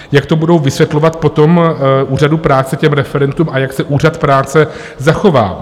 Jak to budou vysvětlovat potom Úřadu práce, těm referentům, a jak se Úřad práce zachová?